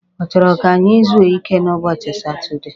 Ọ chọrọ ka anyị zuo ike n'ụbọchị Satudee?